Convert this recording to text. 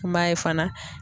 I ma ye fana.